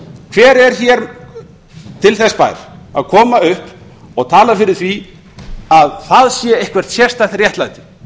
hver er til þess bær að koma upp og tala fyrir því að það sé eitthvert sérstakt réttlæti